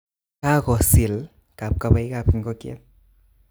Kakosil kapkabaik ab ikokyet